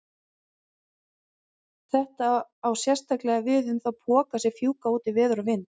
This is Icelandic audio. Þetta á sérstaklega við um þá poka sem fjúka út í veður og vind.